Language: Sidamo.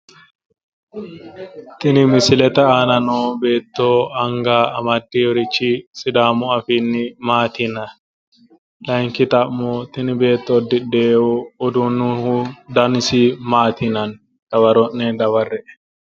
Tini misilete aana no beetto anga amaddeewoorichi sidaamu afiinni maati yinanni? laayinki xa'mo tini beetto uddidheewo udiinni dani maati yinanni? Dawaro'ne qolle'e?